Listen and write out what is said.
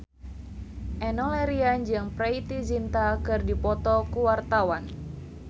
Enno Lerian jeung Preity Zinta keur dipoto ku wartawan